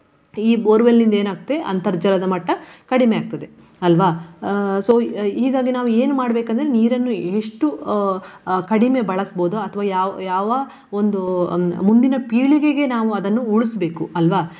ಈ borewell ನಿಂದ ಏನಾಗ್ತದೆ ಅಂತರ್ಜಲದ ಮಟ್ಟ ಕಡಿಮೆ ಆಗ್ತದೆ ಅಲ್ವಾ. So ಹೀಗಾಗಿ ನಾವು ಏನು ಮಾಡ್ಬೇಕಂದ್ರೆ ನೀರನ್ನು ಎಷ್ಟು ಅಹ್ ಅಹ್ ಕಡಿಮೆ ಬಳಸ್ಬಹುದು. ಅಥ್ವಾ ಯಾವ್~ ಯಾವ ಒಂದು ಮುಂದಿನ ಪೀಳಿಗೆಗೆ ನಾವು ಅದನ್ನು ಉಳಿಸ್ಬೇಕು ಅಲ್ವಾ.